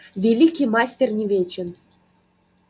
великий мастер не вечен